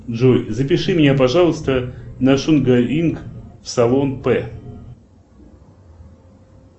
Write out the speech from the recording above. джой запиши меня пожалуйста на шугаринг в салон п